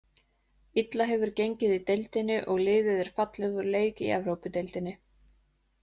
Illa hefur gengið í deildinni og liðið er fallið úr leik í Evrópudeildinni.